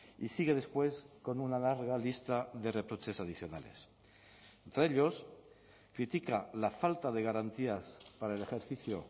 y sigue después con una larga lista de reproches adicionales entre ellos critica la falta de garantías para el ejercicio